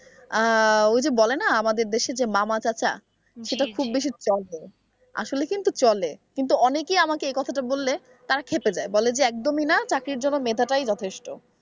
আহ ওই যে বলে না আমাদের দেশে যে মামা চাচা, সেটা খুব বেশি চলে আসলে কিন্তু চলে কিন্তু অনেকেই আমাকে এ কথাটা বললে তারা ক্ষেপে যায় বলে যে একদমই না চাকরির জন্য মেধা টাই যথেষ্ট।